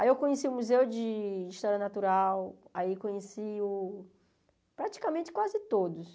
Aí eu conheci o Museu de História Natural, aí conheci o praticamente quase todos.